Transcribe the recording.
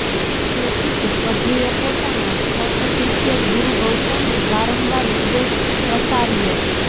તેથી જ પ્રભુએ પોતાના પટ્ટશિષ્ય ગુરુ ગૌતમને વારંવાર ઉપદેશ પ્રસાર્યો